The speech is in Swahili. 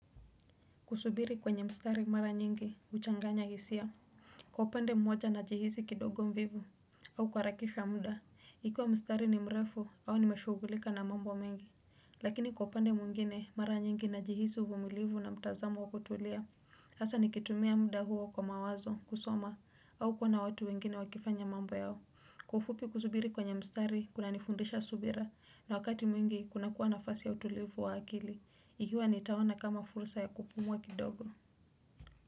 Kusubiri kwenye mstari mara nyingi, uchanganya hisia. Kwa upande mmoja na jihisi kidogo mvivu, au kuha rakisha mda. Ikiwa mstari ni mrefu, au nimeshugulika na mambo mengi. Lakini kwa upande mwingine, mara nyingi na jihisi uvumilivu na mtazamo wa kutulia. Hasa nikitumia mda huo kwa mawazo, kusoma, au kuona watu wengine wakifanya mambo yao. Kwa ufupi kusubiri kwenye mstari, kuna nifundisha subira, na wakati mwingi, kuna kuwa na fasi ya utulivu wa akili. Ikiwa ni tahona kama fursa ya kupumua kidogo.